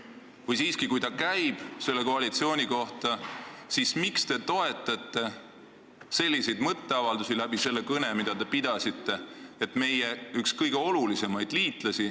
Või kui see siiski käib selle koalitsiooni kohta, siis miks te toetate oma kõne kaudu selliseid mõtteavaldusi, et Suurbritannia peaminister on oma riigi reetur?